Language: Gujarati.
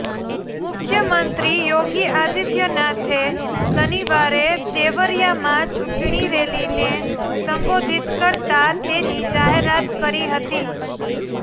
મુખ્યમંત્રી યોગી આદિત્યનાથે શનિવારે દેવરિયામાં ચૂંટણી રેલીને સંબોધિત કરતા તેની જાહેરાત કરી હતી